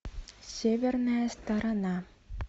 северная сторона